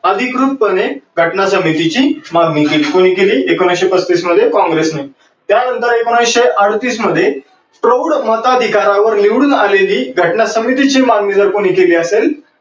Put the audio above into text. अधिकृत पने घटना समितीची मागणी केली. कोणी केली? एकोणविसशे पस्तीस मध्ये काँग्रेस ने. त्या नंतर एकोणविसशे अडोतीस मध्ये प्रौढ माताधीकारावर निवडून आलेली घटना समितीची मागणी जर केली असेल